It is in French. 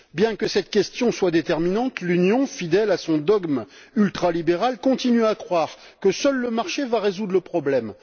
Bien que cette question soit déterminante, l'Union, fidèle à son dogme ultralibéral, continue à croire que seul le marché va résoudre le problème.